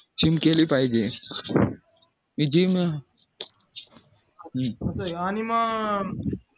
gym केली पाहिजे